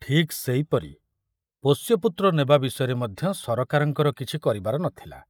ଠିକ ସେଇ ପରି ପୋଷ୍ୟପୁତ୍ର ନେବା ବିଷୟରେ ମଧ୍ୟ ସରକାରଙ୍କର କିଛି କରିବାର ନଥିଲା।